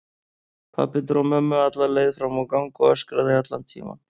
Pabbi dró mömmu alla leið fram á gang og öskraði allan tímann.